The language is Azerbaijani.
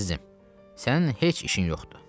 Əzizim, sənin heç işin yoxdur.